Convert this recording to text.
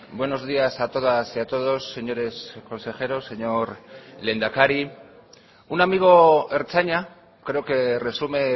buenos días a todas y a todos señores consejeros señor lehendakari un amigo ertzaina creo que resume